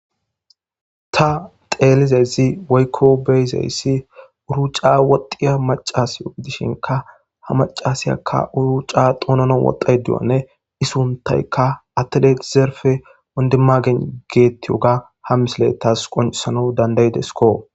ta xeelizezi waykko beyzeyssi uruca woxiya macas uidishinka ha macasiyakka uruca xoonono woxay duyanne isuntayka attedezerfe ondemagen geettiyoga ha misilettas qonsano dandaydesko